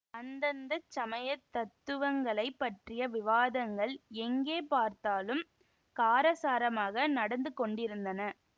அந்தந்த சமய தத்துவங்களைப் பற்றிய விவாதங்கள் எங்கே பார்த்தாலும் காரசாரமாக நடந்து கொண்டிருந்தன